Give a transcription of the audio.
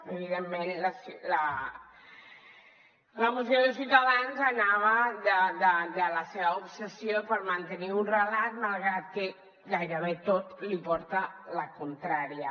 evidentment la moció de ciutadans anava de la seva obsessió per mantenir un relat malgrat que gairebé tot li porta la contrària